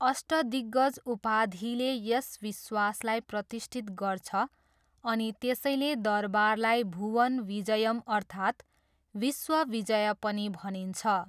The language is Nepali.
अष्टदिग्गज उपाधिले यस विश्वासलाई प्रतिष्ठित गर्छ अनि त्यसैले दरबारलाई भुवन विजयम् अर्थात् विश्व विजय पनि भनिन्छ।